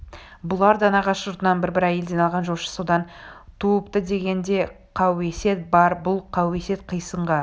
бұлар да нағашы жұртынан бір-бір әйелден алған жошы содан туыптыдеген де қауесет бар бұл қауесет қисынға